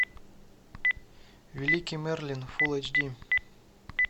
великий мерлин фулл эйч ди